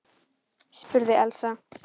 spurði Elsa.